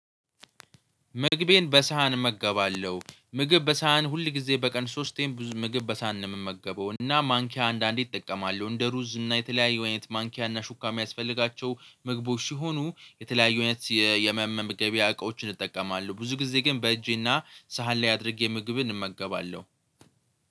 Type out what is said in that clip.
ምግቤን በሳህን እመገባለሁ ምግብ በሳህን ሁል ጊዜ በቀን ሶስቴም ብዙ ምግብ በሳህን ነው የምመገበው። እና ማንኪያ አንዳንዴ እጠቀማለሁ እንደ ሩዝ እና የተለያዩ አይነት ማንኪያ እና ሹካም ያስፈልጋቸው ምግቦች ሲሆኑ የተለያዩ አይነት የመመገበያ እቃዎችን እጠቀማለሁ። ብዙ ጊዜ ግን በእጄና ሳህን ላይ አድርጌ ምግብ እንመገባለሁ።